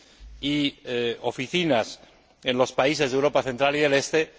y oficinas en los países de Europa central y oriental.